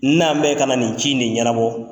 N'an bɛ ka na nin ci in de ɲɛnabɔ